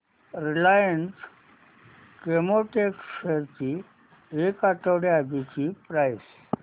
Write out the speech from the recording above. Reliance Chemotex shares ची एक आठवड्या आधीची प्राइस